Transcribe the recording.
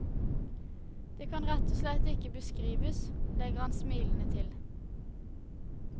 Det kan rett og slett ikke beskrives, legger han smilende til.